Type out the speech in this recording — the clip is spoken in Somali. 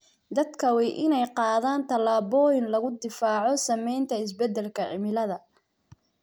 Dadka waa in ay qaadaan tallaabooyin lagu difaaco saamaynta isbedelka cimilada.